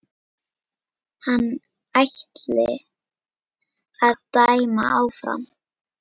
Hann ætli að dæma áfram.